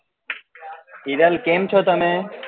હિરલ કેમ છો તમે